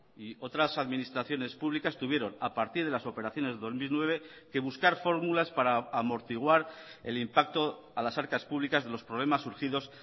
y otras administraciones públicas tuvieron a partir de las operaciones de dos mil nueve que buscar fórmulas para amortiguar el impacto a las arcas públicas de los problemas surgidos